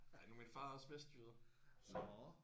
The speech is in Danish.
Ja nu er min far også vestjyde så